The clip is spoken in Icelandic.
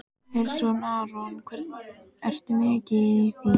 Hersir Aron: Ertu mikið í því?